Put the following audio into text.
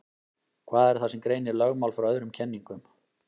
Hvað er það sem greinir lögmál frá öðrum kenningum?